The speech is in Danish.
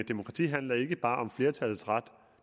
demokrati handler ikke bare om flertallets ret